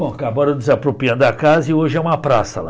Bom, acabaram desapropriando a casa e hoje é uma praça lá.